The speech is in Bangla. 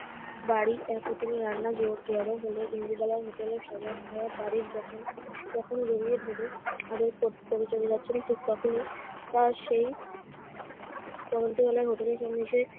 বাড়ি এক হোটেলে রান্না জড়~ জড়ো হলে ইন্দুবালার হোটেলে সবার খাওয়ার তারিফ যখন তখনই জড়িয়ে ধরে আদর কর~ করে চলে যাচ্ছেন ঠিক তখনি তার সেই পড়ন্তবেলায় হোটেলের সামনে এসে